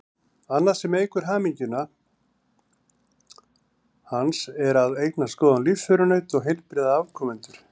Annað sem eykur hamingju hans er að eignast góðan lífsförunaut og heilbrigða afkomendur.